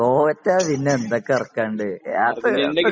തോറ്റാൽ പിന്നെ എന്തൊക്കെ ഇറക്കാനുണ്ട്? അത് ഒക്കെ ഇപ്പോ